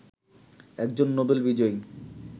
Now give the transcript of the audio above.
একজন নোবেল বিজয়ী